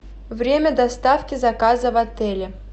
время доставки заказа в отеле